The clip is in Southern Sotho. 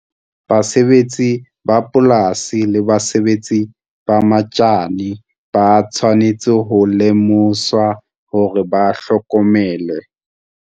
Basebetsi ba polasi le basebedisi ba metjhine ba tshwanetse ho lemoswa hore ba hlokomele.